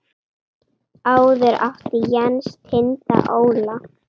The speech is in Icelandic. Áður átti Jens Tind Óla.